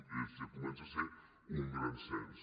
ja comença a ser un gran cens